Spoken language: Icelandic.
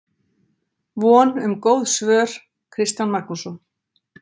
Von um góð svör, Kristján Magnússon.